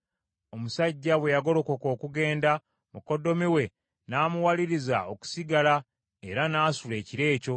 Omusajja bwe yagolokoka okugenda, mukoddomi we n’amuwaliriza okusigala era n’asula ekiro ekyo.